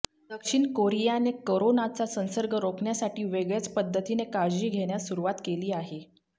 दक्षिण कोरियाने करोनाचा संसर्ग रोखण्यासाठी वेगळ्याच पद्धतीने काळजी घेण्यास सुरुवात केली आहे